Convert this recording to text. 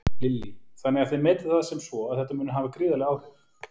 Lillý: Þannig að þið metið það sem svo að þetta muni hafa gríðarleg áhrif?